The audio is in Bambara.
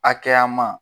Hakɛya ma